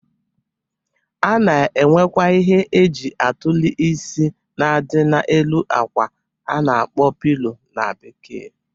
A na-enwekwa ihe e ji atụlị isi na-adị na-elu akwa a na-akpọ pilo na Bekee.